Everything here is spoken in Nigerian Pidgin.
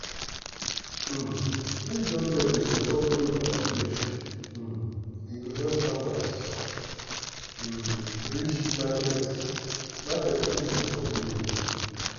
um if government dey support road and bridge um e go help farmers um reach market market easy for village.